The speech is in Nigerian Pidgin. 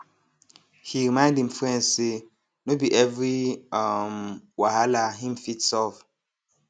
he remind him friend say no be every um whahala him fit solve